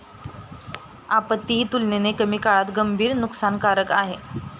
आपत्ती ही तुलनेने कमी काळात गंभीर नुकसानकारक आहे.